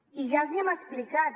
i ja els ho hem explicat